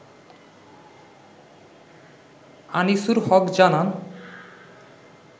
আনিসুর হক জানান